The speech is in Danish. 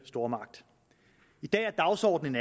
stormagt i dag er dagsordenen